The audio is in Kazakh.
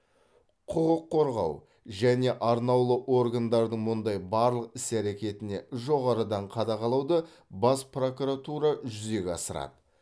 құқық қорғау және арнаулы органдардың мұндай барлық іс әреетіне жоғарыдан қадағалауды бас прокуратура жүзеге асырады